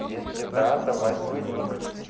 если да давай свой ник